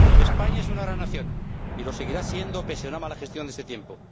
España es una gran nación y lo seguirá siendo pese a una mala gestión de este tiempo.